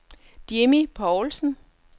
Jimmi Poulsen